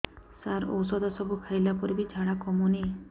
ସାର ଔଷଧ ସବୁ ଖାଇଲା ପରେ ବି ଝାଡା କମୁନି